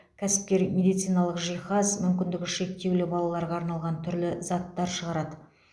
кәсіпкер медициналық жиһаз мүмкіндігі шектеулі балаларға арналған түрлі заттар шығарады